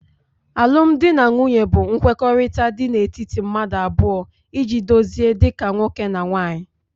alụmdi na nwunye bụ nkwekọrịta dị n'etiti mmadụ abụọ iji dozie dị ka nwoke na nwunye